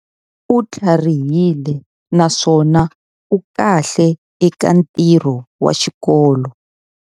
U tlharihile naswona u kahle eka ntirho wa xikolo.